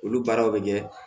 Olu baaraw bɛ kɛ